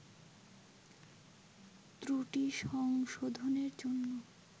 ত্রুটি সংশোধনের জন্য